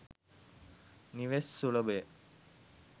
නිවෙස් සුලභය.